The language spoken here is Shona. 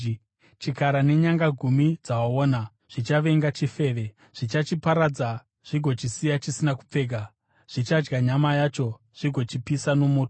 Chikara nenyanga gumi dzawaona zvichavenga chifeve. Zvichachiparadza zvigochisiya chisina kupfeka; zvichadya nyama yacho zvigochipisa nomoto.